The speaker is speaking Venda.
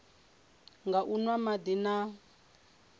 nga u nwa madi na